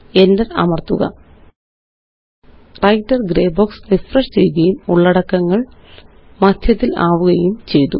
Enter അമര്ത്തുക writer grey box refresh ചെയ്യുകയും ഉള്ളടക്കങ്ങള് മദ്ധ്യത്തിലാവുകയും ചെയ്തു